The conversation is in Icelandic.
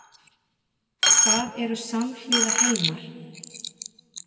Hvað eru samhliða heimar?